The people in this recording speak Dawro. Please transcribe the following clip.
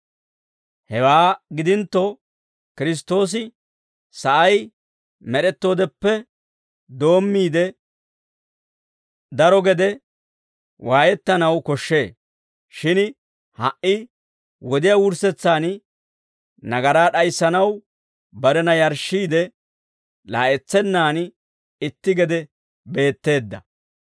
Hewaa gidintto, Kiristtoosi sa'ay med'ettoodeppe doommiide daro gede waayettanaw koshshee; shin ha"i wodiyaa wurssetsaan nagaraa d'ayissanaw barena yarshshiide, laa'etsennaan itti gede beetteedda.